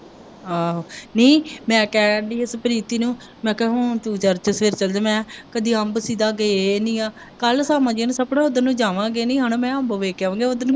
ਆਹੋ ਨਹੀਂ ਮੈਂ ਕਹਿਣ ਦੀ ਹੀ ਪ੍ਰੀਤੀ ਨੂੰ ਮੈਂ ਕਿਹਾ ਤੂੰ church ਫਿਰ ਚੱਲ ਜੀ ਮੈਂ ਕਿਹਾ ਕਦੇ ਆਂਦੇ ਸੀ ਗਾ ਕ ਗਏ ਨਹੀਂ ਹੈ ਕੱਲ਼੍ਹ ਸਾਮਾਂ ਜੀ ਨੂੰ ਸੋਚਿਆ ਅਸੀਂ ਦੋਨੇ ਜਾਂਵਾਂਗੇ ਦੋਨੇ ਜਾਨੇ ਮੈਂ ਕਿਹਾ ਅੱਜ ਵੇਖ ਕੇ ਆਊਂਗੇ .